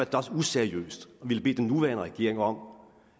da også useriøst at ville bede den nuværende regering om